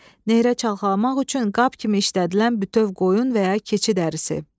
Nehrə çaxalamaq üçün qab kimi işlədilən bütöv qoyun və ya keçi dərisi.